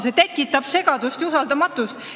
See tekitab segadust ja usaldamatust.